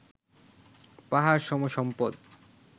পাহাড়সম সম্পদ